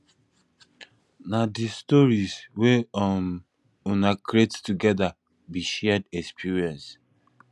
na di stories wey um una create togeda be shared experience